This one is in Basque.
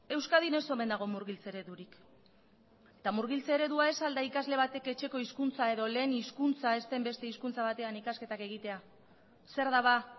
euskadin ez omen dago murgiltze eredurik eta murgiltze eredua ez al da ikasle batek etxeko hizkuntza edo lehen hizkuntza ez den beste hizkuntza batean ikasketak egitea zer da ba